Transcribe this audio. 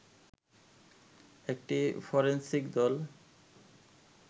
একটি ফরেন্সিক দল